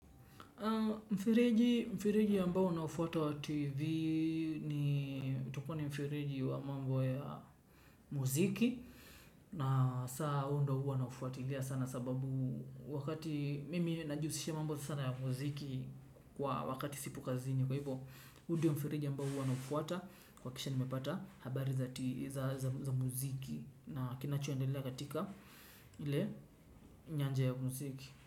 Mfereji mfereji ambao naufuata wa TV ni utakuwa ni mfereji wa mambo ya muziki. Na saa huo ndo huwa nafuatilia sana sababu wakati mimi najihusisha mambo sana ya muziki kwa wakati sipo kazini. Kwa hivyo hu diyo mfereji ambao huwa naufuata kuhakikisha nimepata habari za muziki na kinachoendelea katika ile nyanja ya muziki.